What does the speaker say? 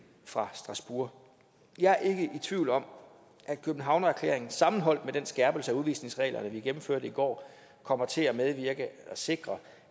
fra strasbourg jeg er ikke i tvivl om at københavnererklæringen sammenholdt med den skærpelse af udvisningsreglerne vi gennemførte i går kommer til at sikre